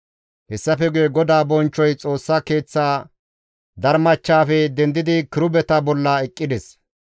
Hessafe guye GODAA bonchchoy Xoossa Keeththa darmachchafe dendidi kirubeta bolla eqqides.